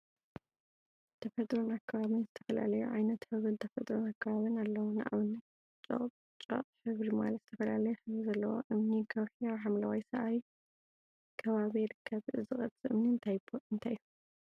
ተፈጥሮን አከባቢን ዝተፈላለዩ ዓይነትን ሕብሪን ተፈጥሮን አከባቢን አለው፡፡ ንአብነት ጨቅጨቅ ሕብሪ ማለት ዝተፈላለዩ ሕብሪ ዘለዎ እምኒ/ከውሒ አብ ሓምለዋይ ሳዕሪ ከባቢ ይርከብ፡፡ እዚ ቅርፂ እምኒ እንታይ እዩ?